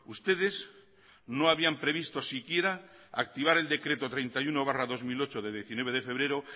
ustedes no habían previsto siquiera activar el decreto treinta y uno barra dos mil ocho de diecinueve de febrero